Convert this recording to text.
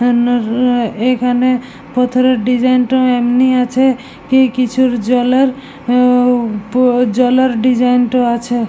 এখানে ভেতরের ডিসাইন -টা এমনি আছে কি কিছুর জলার উম জ্বলার ডিসাইন -টা আছে।